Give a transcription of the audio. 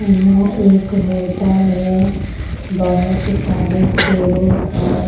यहां एक होटल है बहुत सारे टेबल और--